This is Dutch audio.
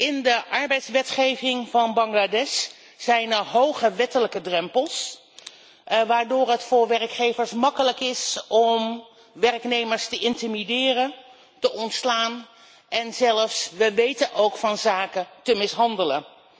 In de arbeidswetgeving van Bangladesh zijn er hoge wettelijke drempels waardoor het voor werkgevers gemakkelijk is om werknemers te intimideren, te ontslaan en zelfs we weten ook van zaken te mishandelen.